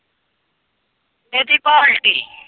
ਕਿਹਦੀ ਪਾਲਟੀ।